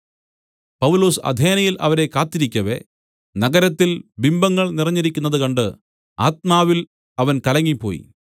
പൗലൊസ് അഥേനയിൽ അവരെ കാത്തിരിക്കവെ നഗരത്തിൽ ബിംബങ്ങൾ നിറഞ്ഞിരിക്കുന്നത് കണ്ട് ആത്മാവിൽ അവൻ കലങ്ങിപ്പോയി